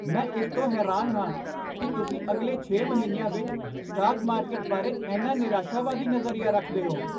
ਮੈਂ ਇਸ ਤੋਂ ਹੈਰਾਨ ਹਾਂ ਕੀ ਤੁਸੀਂ ਅਗਲੇ ਛੇ ਮਹੀਨਿਆਂ ਵਿੱਚ ਸਟਾਕ ਮਾਰਕੀਟ ਬਾਰੇ ਇੰਨਾ ਨਿਰਾਸ਼ਾਵਾਦੀ ਨਜ਼ਰੀਆ ਰੱਖਦੇ ਹੋ